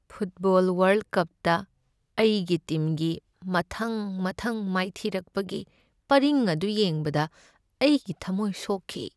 Football ꯋꯥꯔꯜ ꯀꯞꯇ ꯑꯩꯒꯤ ꯇꯤꯝꯒꯤ ꯃꯊꯪ ꯃꯊꯪ ꯃꯥꯏꯊꯤꯔꯛꯄꯒꯤ ꯄꯔꯤꯡ ꯑꯗꯨ ꯌꯦꯡꯕꯗ ꯑꯩꯒꯤ ꯊꯝꯃꯣꯏ ꯁꯣꯛꯈꯤ ꯫